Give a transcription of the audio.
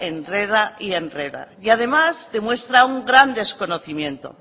enreda y enreda y además demuestra un gran desconocimiento